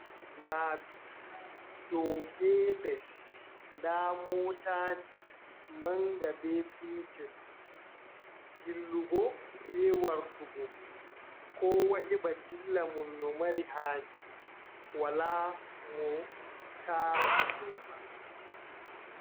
Laabi dow be les, nda motaji manga be petel, dillugo be wartugo, kowa heɓa dillamun no mari haji wala mo tarata dow bandum.